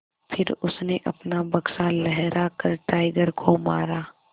फिर उसने अपना बक्सा लहरा कर टाइगर को मारा